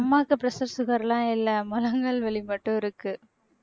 அம்மாவுக்கு pressure, sugar எல்லாம் இல்லை முழங்கால் வலி மட்டும் இருக்கு